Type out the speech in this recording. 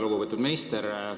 Väga lugupeetud minister!